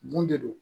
Mun de don